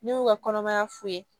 Ne y'u ka kɔnɔmaya foye